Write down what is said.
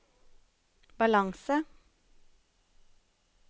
balanse